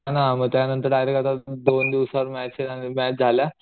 हा ना मग त्या नंतर डायरेक्ट आता दोन दिवसावर मॅच आणि मॅच झाल्या